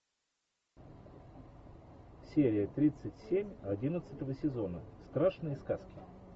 серия тридцать семь одиннадцатого сезона страшные сказки